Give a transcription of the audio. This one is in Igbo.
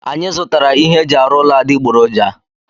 Anyị zụtara ihe eji arụ ụlọ adịgboroja.